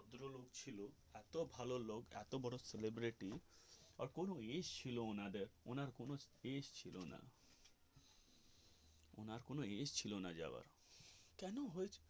ভদ্রলোক ছিল এত ভালো লোক এত বড়ো celebrity আর কোনো এষ ছিল না ওনাদের অন্যের কোনো space ছিল না ওনার কোনো ইয়ে ছিল না যাওয়ার কেন হয়েছে.